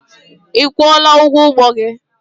Ị kwụọla ụgwọ ụgbọ gị?